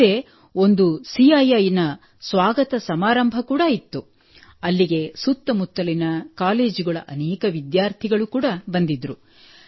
ಅಲ್ಲದೇ ಒಂದು ಸಿಐಐ ನ ಸ್ವಾಗತ ಸಮಾರಂಭ ಕೂಡಾ ಇತ್ತು ಅಲ್ಲಿಗೆ ಸುತ್ತಮುತ್ತಲಿನ ಕಾಲೇಜುಗಳ ಅನೇಕ ವಿದ್ಯಾರ್ಥಿಗಳು ಕೂಡಾ ಬಂದಿದ್ದರು